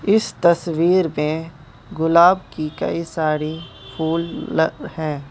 इस तस्वीर में गुलाब की कई सारी फूल ल हैं।